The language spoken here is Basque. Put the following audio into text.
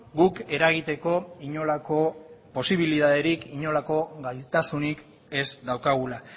guk eragiteko inolako posibilitaterik inolako gaitasunik ez daukagula